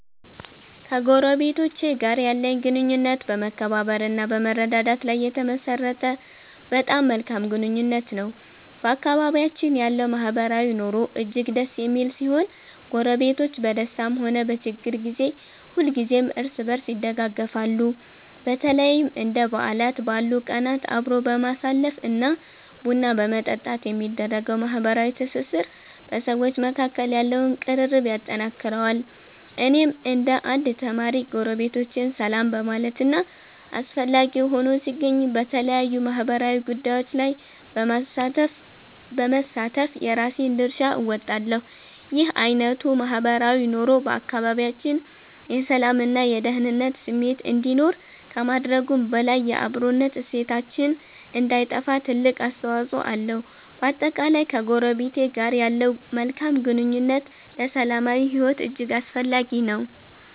ከጎረቤቶቼ ጋር ያለኝ ግንኙነት በመከባበር እና በመረዳዳት ላይ የተመሠረተ በጣም መልካም ግንኙነት ነው። በአካባቢያችን ያለው ማህበራዊ ኑሮ እጅግ ደስ የሚል ሲሆን፣ ጎረቤቶች በደስታም ሆነ በችግር ጊዜ ሁልጊዜም እርስ በርስ ይደጋገፋሉ። በተለይም እንደ በዓላት ባሉ ቀናት አብሮ በማሳለፍ እና ቡና በመጠጣት የሚደረገው ማህበራዊ ትስስር በሰዎች መካከል ያለውን ቅርርብ ያጠነክረዋል። እኔም እንደ አንድ ተማሪ፣ ጎረቤቶቼን ሰላም በማለት እና አስፈላጊ ሆኖ ሲገኝ በተለያዩ ማህበራዊ ጉዳዮች ላይ በመሳተፍ የራሴን ድርሻ እወጣለሁ። ይህ አይነቱ ማህበራዊ ኑሮ በአካባቢያችን የሰላም እና የደኅንነት ስሜት እንዲኖር ከማድረጉም በላይ፣ የአብሮነት እሴታችን እንዳይጠፋ ትልቅ አስተዋፅኦ አለው። በአጠቃላይ፣ ከጎረቤት ጋር ያለው መልካም ግንኙነት ለሰላማዊ ሕይወት እጅግ አስፈላጊ ነው።